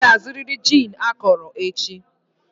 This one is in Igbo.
Ị ga-azụrịrị gin akọrọ echi!